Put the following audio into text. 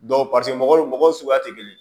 mɔgɔw mɔgɔw suguya tɛ kelen ye